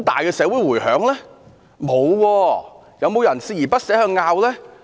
有沒有人鍥而不捨地爭拗？